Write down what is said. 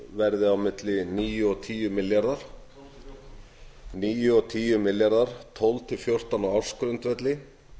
verði á milli níu og tíu milljarðar tólf til fjórtán á ársgrundvelli